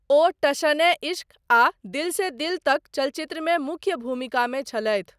ओ टशन ए इश्क आ दिल से दिल तक चलचित्रमे मुख्य भूमिकामे छलथि।